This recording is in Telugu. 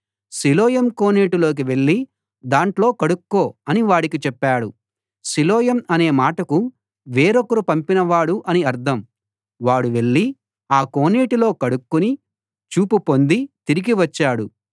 సిలోయం కోనేటికి వెళ్ళి దాంట్లో కడుక్కో అని వాడికి చెప్పాడు సిలోయం అనే మాటకు వేరొకరు పంపినవాడు అని అర్థం వాడు వెళ్ళి ఆ కోనేటిలో కడుక్కుని చూపు పొంది తిరిగి వచ్చాడు